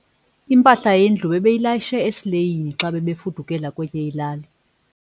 Impahla yendlu bebeyilayishe esileyini xa bebefudukela kwenye ilali.